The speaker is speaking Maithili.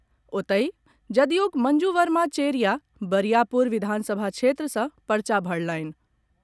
ओतहि, जदयूक मंजू वर्मा चेरिया बरियापुर विधानसभा क्षेत्र सँ पर्चा भरलनि।